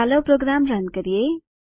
ચાલો program run કરીએ